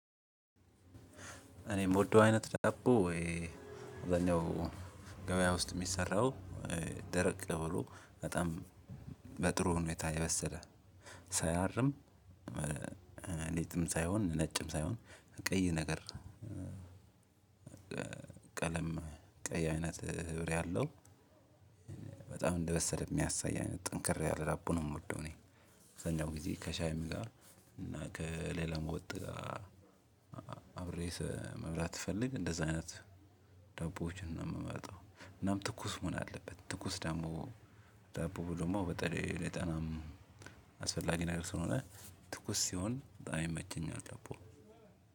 እኔ የምወደው አይነት ዳቦ ወይ ወኔው ገበያ ውስጥ የሚሰራው ደረቅ ብሎ በጣም በጥሩ ሁኔታ የበሰለ ሳያርም እንትንም ሳይሆን ነጭም ሳይሆን ቀይ ነገር። ቀለም ቀይ አይነት ህብር ያለው በጣም እንደበሰለ የሚያሳይ አይነት ጠንከር ያለ ዳቦ ነው የምወደው። እኔ አብዛኛው ጊዜ ከሻይም ጋር እና ከሌላም ወጥ ጋር አብሬ መብላት ስፈልግ እንደዛ አይነት ዳቦዎችን ነው የምመርጠው። እናም ትኩስ መሆን አለበት ትኩስ ደግሞ ዳቦ ደግሞ በተለይ ለጤናም አስፈላጊ ነገር ስለሆነ ትኩስ ሲሆን በጣም ይመቸኛል። ዳቦ